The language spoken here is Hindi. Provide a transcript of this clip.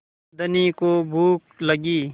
धनी को भूख लगी